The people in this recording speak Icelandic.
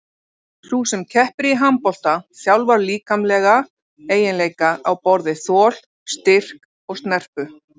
Sú sem keppir í handbolta þjálfar líkamlega eiginleika á borð við þol, styrk og snerpu.